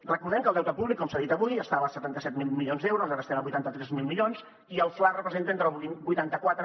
recordem que el deute públic com s’ha dit avui estava als setanta set mil milions d’euros ara estem a vuitanta tres mil milions i el fla representa entre el vuitanta quatre